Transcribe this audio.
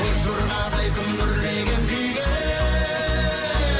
боз жорғадай күмбірлеген күйге